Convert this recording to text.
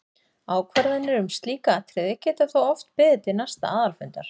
Ákvarðanir um slík atriði geta þó oft beðið til næsta aðalfundar.